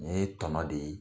Ni ye tɔnɔ de ye